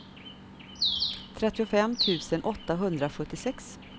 trettiofem tusen åttahundrasjuttiosex